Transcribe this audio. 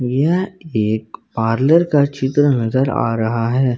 यह एक पार्लर का चित्र नजर आ रहा है।